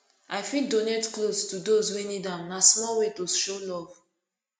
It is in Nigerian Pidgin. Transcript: i fit donate clothes to those wey need am na small way to show love